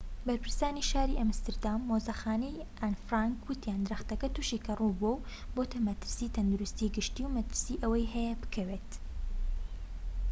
بەرپرسانی شاری ئەمستەردام و مۆزەخانەی ئان فرانک وتیان درەختەکە توشی کەڕوو بووە و بۆتە مەترسیی تەندروستی گشتی و مەترسی ئەوەی هەیە بکەوێت